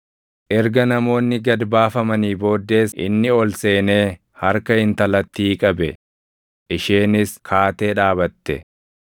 Erga namoonni gad baafamanii booddees inni ol seenee harka intalattii qabe; isheenis kaatee dhaabatte.